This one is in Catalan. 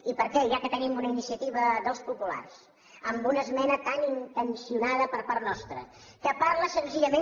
i per què ja que tenim una iniciativa dels populars amb una esmena tan intencionada per part nostra que parla senzillament